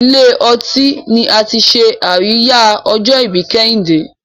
ní Ilé-ọtí ní àti ṣe Àríyá ojo-ibi kehinde